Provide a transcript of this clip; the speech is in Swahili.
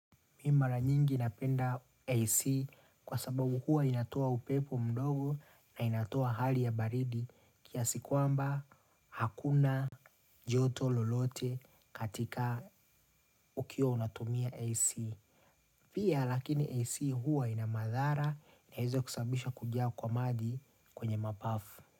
Mimi mara nyingi inapenda AC kwa sababu hua inatoa upepo mdogo na inatoa hali ya baridi kiasi kuamba hakuna joto lolote katika ukiwa unatumia AC. Pia lakini AC hua inamadhara inaweza kusabisha kujaa kwa maji kwenye mapafu.